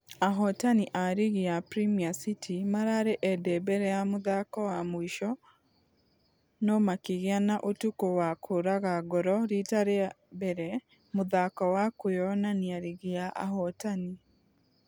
Ahotani a rigi ya premier city mararĩ ende mbere ya mũthako wa mũisho nũmakĩgĩa na ũtuko wa kũraga ngoro rita rĩa rĩa mbere mũthako wa kwĩonania rigi ya ahotani.